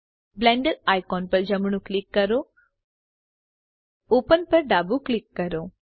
Blender icon પર જમણું click કરો ઓપન પર ડાબુ ક્લિક કરો